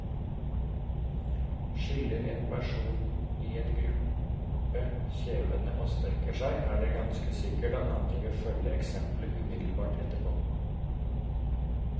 Skiller en person i en gruppe kjevene og strekker seg, er det ganske sikkert at andre vil følge eksemplet umiddelbart etterpå.